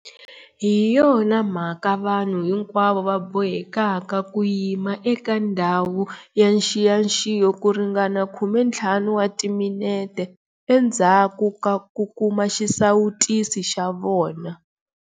Hi yona mhaka vanhu hinkwavo va bohekaka ku yima eka ndhawu ya nxiyaxiyo ku ringana 15 wa timinete endzhaku ka ku kuma xisawutisi xa vona.